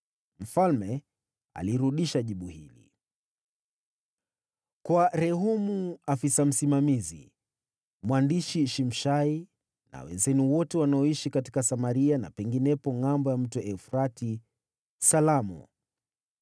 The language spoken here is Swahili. Mfalme alirudisha jibu hili: Kwa Rehumu, afisa msimamizi, mwandishi Shimshai na wenzenu wote wanaoishi katika Samaria na penginepo Ngʼambo ya Mto Frati: Salamu.